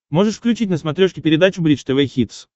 можешь включить на смотрешке передачу бридж тв хитс